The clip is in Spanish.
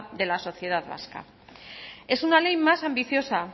de la sociedad vasca es una ley más ambiciosa